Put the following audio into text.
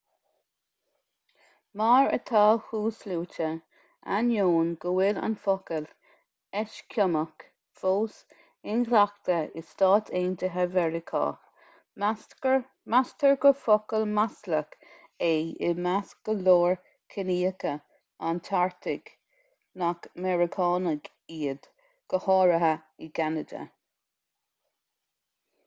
mar atá thuasluaite ainneoin go bhfuil an focal eiscimeach fós inghlactha i stáit aontaithe mheiriceá meastar gur focal maslach é i measc go leor ciníocha an artaigh nach meiriceánaigh iad go háirithe i gceanada